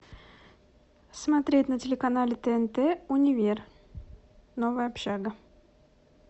смотреть на телеканале тнт универ новая общага